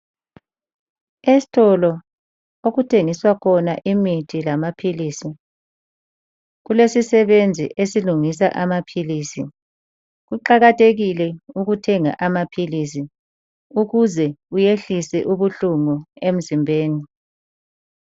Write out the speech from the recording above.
Esitolo okuthengiswa khona imithi lamaphilisi. Kulesisebenzi esilungisa amaphilisi. Kuqakathekile ukuthenga amaphilisi ukuze uyehlise ubuhlungu emzimbeni.